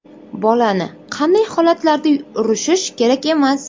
Bolani qanday holatlarda urishish kerak emas?.